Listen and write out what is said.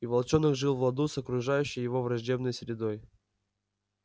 и волчонок жил в ладу с окружающей его враждебной средой